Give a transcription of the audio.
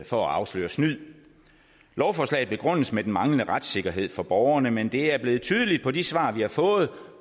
for at afsløre snyd lovforslaget begrundes med den manglende retssikkerhed for borgerne men det er blevet tydeligt for de svar vi har fået